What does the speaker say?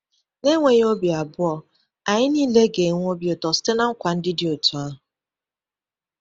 N’enweghị obi abụọ, anyị niile ga-enwe obi ụtọ site na nkwa ndị dị otú ahụ.